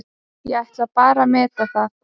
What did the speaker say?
Ég ætla bara að meta það.